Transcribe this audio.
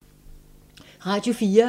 Radio 4